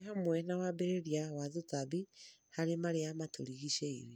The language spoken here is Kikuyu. ĩ hamwe na wambĩrĩria wa tũtambi harĩ marĩa matũrigicĩirie.